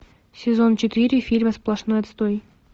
сезон четыре фильма сплошной отстой